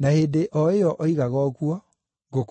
Na hĩndĩ o ĩyo oigaga ũguo, ngũkũ ĩgĩkũga.